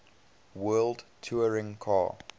world touring car